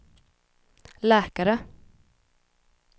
läkare